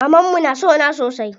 Mamanmu na sona sosai.